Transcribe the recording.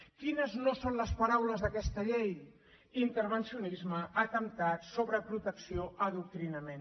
quines no són les paraules d’aquesta llei intervencionisme atemptat sobreprotecció adoctrinament